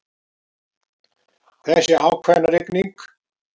Þessi ákveðna rigning.